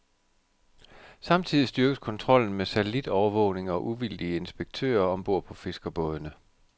Samtidig styrkes kontrollen med satellitovervågning og uvildige inspektører om bord på fiskerbådene.